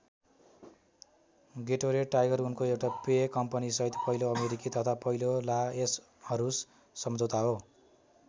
Gatorade Tiger उनको एउटा पेय कम्पनीसहित पहिलो अमेरिकी तथा पहिलो ला यसहरूस समझौता हो।